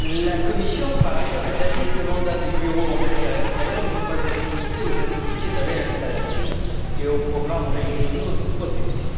La Commission, par ailleurs, est d'avis que le mandat du bureau en matière extérieure ne doit pas être limité aux activités de réinstallation et aux programmes régionaux de protection.